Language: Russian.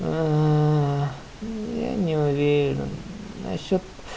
я не уверен на счёт